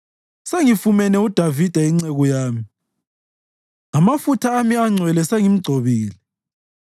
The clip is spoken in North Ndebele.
Sengifumane uDavida inceku yami; ngamafutha ami angcwele sengimgcobile.